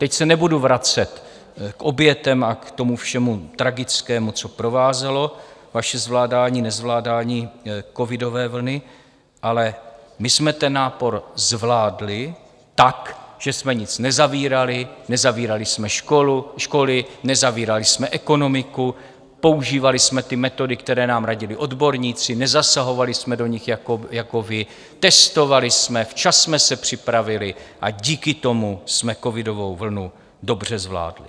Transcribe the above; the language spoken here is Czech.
Teď se nebudu vracet k obětem a k tomu všemu tragickému, co provázelo vaše zvládání, nezvládání covidové vlny, ale my jsme ten nápor zvládli tak, že jsme nic nezavírali, nezavírali jsme školy, nezavírali jsme ekonomiku, používali jsme ty metody, které nám radili odborníci, nezasahovali jsme do nich jako vy, testovali jsme, včas jsme se připravili a díky tomu jsme covidovou vlnu dobře zvládli.